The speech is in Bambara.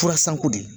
Furasanko de